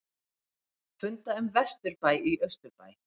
Funda um vesturbæ í austurbæ